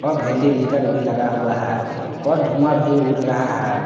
और भेंडीलीटर भी लगा हुआ है और धुआं भी उड़ रहा है।